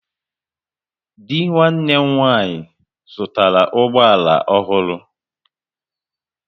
Dị nwanne m nwaanyị zụtara ụgbọ ala ọhụrụ